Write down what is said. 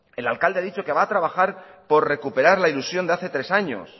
el alcalde ha dicho que va a trabajar por recuperar la ilusión de hace tres años